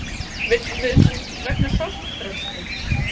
Vill fund vegna sorpbrennslu